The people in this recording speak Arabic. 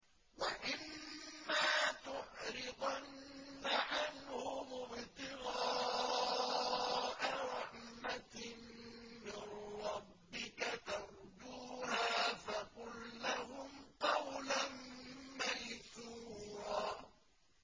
وَإِمَّا تُعْرِضَنَّ عَنْهُمُ ابْتِغَاءَ رَحْمَةٍ مِّن رَّبِّكَ تَرْجُوهَا فَقُل لَّهُمْ قَوْلًا مَّيْسُورًا